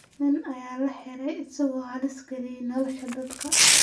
Nin ayaa la xiray isagoo halis geliyay nolosha dadka